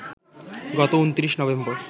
গত ২৯ নভেম্বর